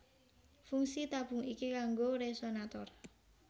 Fungsi tabung iki kanggo resonator